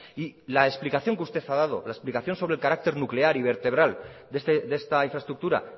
y la explicación que usted ha dado la explicación sobre el carácter nuclear y vertebral de esta infraestructura